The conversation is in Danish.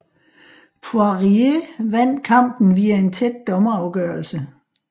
Poirier vandt kampen via en tæt dommerafgørelse